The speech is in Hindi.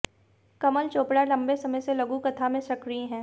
कमल चोपड़ा लम्बे समय से लघुकथा में सक्रिय हैं